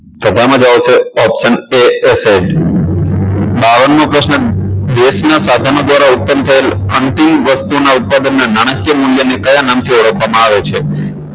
તો તેમાં જવાબ આવશે option a acid બાવન મો પ્રશ્ન દેશના સાધનો દ્વારા ઉત્પન્ન થયેલ અંતિમ વસ્તુના ઉત્પાદનના નાણાકીય મૂલ્યને કયા નામથી ઓળખવામાં આવે છે